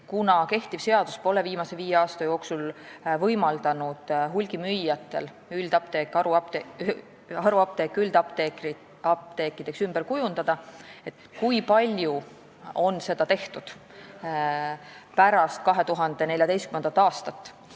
Kehtiv seadus pole viimase viie aasta jooksul võimaldanud hulgimüüjatel haruapteeke üldapteekideks ümber kujundada, kui palju on seda tehtud pärast 2014. aastat?